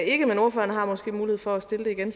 ikke men ordføreren har måske en mulighed for at stille det igen